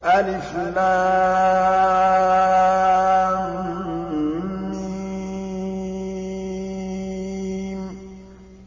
الم